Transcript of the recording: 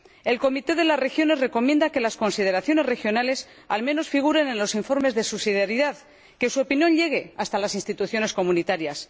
El Comité de las Regiones recomienda que las consideraciones de las regiones figuren, al menos, en los informes de subsidiariedad, que su opinión llegue hasta las Instituciones comunitarias.